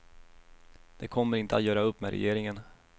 De kommer inte att göra upp med regeringen.